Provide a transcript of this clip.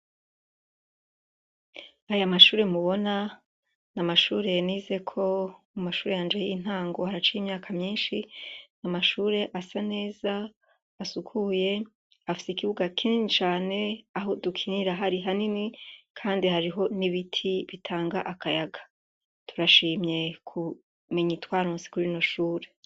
Aya mashure mubona ni amashure yanize ko mu mashure yanje y'intango haraca imyaka myinshi ni amashure asa neza asukuye afise ikibuga kincane aho dukinira hari hanini, kandi hariho n'ibiti bitanga akayaga turashima mekumenya itwarunsi kuri noshura.